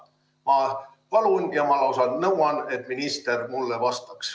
Ma palun ja ma lausa nõuan, et minister mulle vastaks.